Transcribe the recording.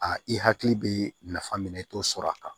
A i hakili bɛ nafa min na i t'o sɔrɔ a kan